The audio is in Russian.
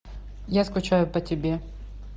я скучаю по тебе